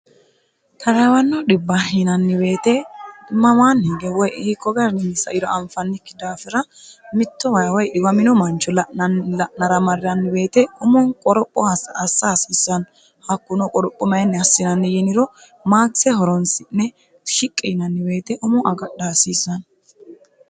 tarawanno dhibb yinanniweete mamaanni hige woy hiikko garnini sairo anfannikki daafira mitto woyi dhiwamino mancho la'nara marranni woyiite umono qoropho hassa hasiissanno hakkunno qorophu mayinni hassissano yiniro maakise horonsi'ne shiqqi yinanni woyiite umoo agadha hasiisanno